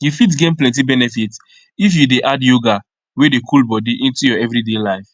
you fit gain plenty benefit if you dey add yoga wey dey cool body into your everyday life